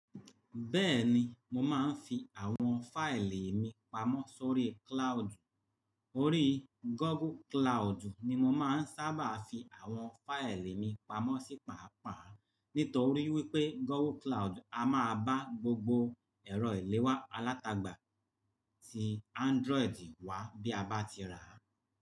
Bẹ́ẹ̀ni, mo máa ń fi àwọn fáìlì mi pamọ́ sórí cloud. Orí Google Cloud ni mo máa ń sábà fi àwọn fáìlì mi pamọ́ sí pàápàá nítorí wípé Google Cloud a máa bá gbogbo ẹ̀rọ ìléwá alátagbà tí Android wá bí a bá ti rà á.